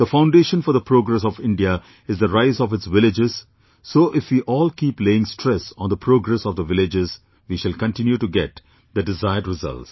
The foundation for the progress of India is the rise of its villages; so if we all keep laying stress on the progress of the villages, we shall continue to get the desired results